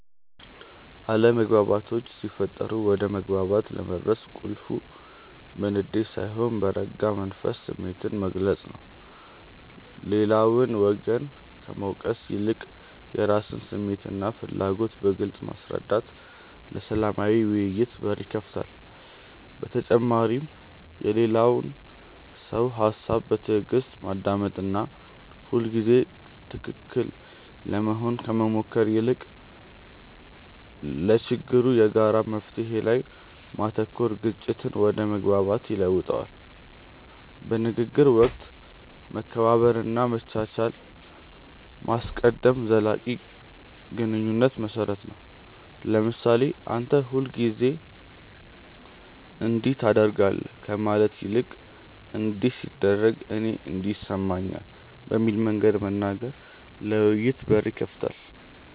አለመግባባቶች ሲፈጠሩ ወደ መግባባት ለመድረስ ቁልፉ በንዴት ሳይሆን በረጋ መንፈስ ስሜትን መግለጽ ነው። ሌላውን ወገን ከመውቀስ ይልቅ የራስን ስሜትና ፍላጎት በግልጽ ማስረዳት ለሰላማዊ ውይይት በር ይከፍታል። በተጨማሪም የሌላውን ሰው ሃሳብ በትዕግስት ማዳመጥና ሁልጊዜ ትክክል ለመሆን ከመሞከር ይልቅ ለችግሩ የጋራ መፍትሔ ላይ ማተኮር ግጭትን ወደ መግባባት ይለውጠዋል። በንግግር ወቅት መከባበርንና መቻቻልን ማስቀደም ለዘላቂ ግንኙነት መሰረት ነው። ለምሳሌ "አንተ ሁልጊዜ እንዲህ ታደርጋለህ" ከማለት ይልቅ "እንዲህ ሲደረግ እኔ እንዲህ ይሰማኛል" በሚል መንገድ መናገር ለውይይት በር ይከፍታል።